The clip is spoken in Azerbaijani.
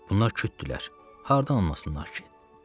Bunlar kütdülər, hardan anlasınlar ki?